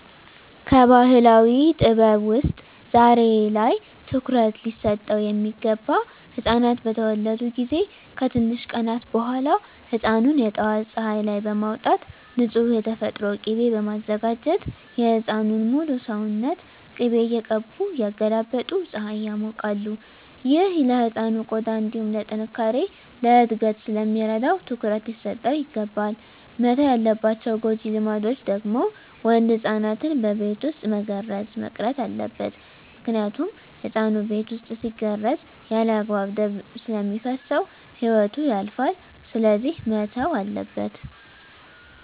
ከባህላዊ ጥበብ ውስጥ ዛሬ ላይ ትኩሩት ሊሰጠው ሚገባ ህፃናት በተወለዱ ጊዜ ከትንሽ ቀናት በኋላ ህፃኑን የጠዋት ፀሀይ ላይ በማውጣት ንፁህ የተፈጥሮ ቂቤ በማዘጋጀት የህፃኑን ሙሉ ሰውነት ቅቤ እየቀቡ እያገላበጡ ፀሀይ ያሞቃሉ። ይህ ለህፃኑ ቆዳ እንዲሁም ለጥነካሬ፣ ለእድገት ስለሚረዳው ትኩረት ሊሰጠው ይገባል። መተው ያለባቸው ጎጂ ልማዶች ደግሞ ወንድ ህፃናትን በቤት ውስጥ መገረዝ መቅረት አለበት ምክንያቱም ህፃኑ ቤት ውስጥ ሲገረዝ ያለአግባብ ደም ስለሚፈስሰው ህይወቱ ያልፋል ስለዚህ መተው አለበት።